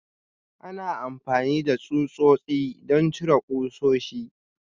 Ana amfani da tsutsotsi don cire ƙusoshi.